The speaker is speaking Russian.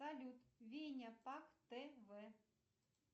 салют веня пак тв